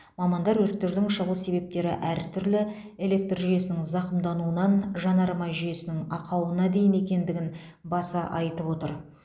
мамандар өрттердің шығу себептері әртүрлі электр жүйесінің зақымдануынан жанармай жүйесінің ақауына дейін екендігін баса айтып отыр